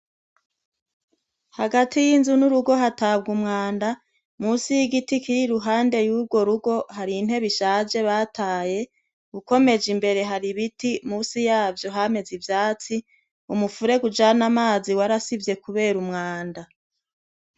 Hagati y' inzu n' urugo hatabwa umwanda, munsi y' igiti kiri iruhande y'urwo rugo hari intebe ishaje bataye, ukomeje imbere hari ibiti munsi yavyo hameze ivyatsi, umufurege ujana amazi warasivye kubera umwanda.